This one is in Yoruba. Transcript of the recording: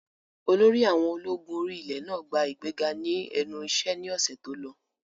Olórí àwọn ológun orí ilẹ̀ náà gba ìgbéga ní ẹnu iṣẹ́ ní ọ̀sẹ̀ tó lọ